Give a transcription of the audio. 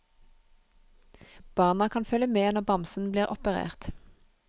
Barna kan følge med når bamsen blir operert.